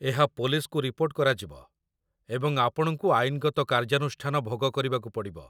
ଏହା ପୋଲିସ୍‌‌କୁ ରିପୋର୍ଟ କରାଯିବ, ଏବଂ ଆପଣଙ୍କୁ ଆଇନଗତ କାର୍ଯାନୁଷ୍ଠାନ ଭୋଗ କରିବାକୁ ପଡ଼ିବ